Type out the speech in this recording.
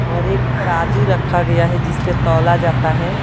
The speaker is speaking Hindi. और एक तराजू रखा गया है जिस परे तौला जाता है।